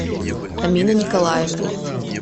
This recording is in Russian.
амина николаевна